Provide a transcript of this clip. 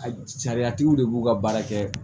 A sariyatigiw de b'u ka baara kɛ